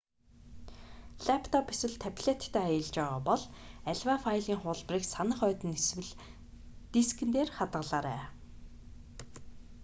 лаптоп эсвэл таблеттай аялж байгаа бол аливаа файлын хуулбарыг санах ойд нь эсвэл дискэн интернэтгүй хандах боломжтой дээр хадгалаарай